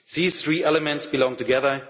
believer. These three elements belong